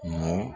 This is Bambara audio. Mun